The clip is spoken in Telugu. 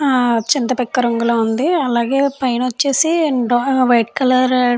ఆ చింతపిక్క రంగులో ఉంది. అలాగే పైన వచ్చేసి వైట్ కలర్ --